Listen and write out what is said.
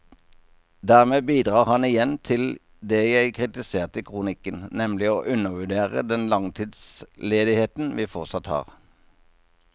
Dermed bidrar han igjen til det jeg kritiserte i kronikken, nemlig å undervurdere den langtidsledigheten vi fortsatt har.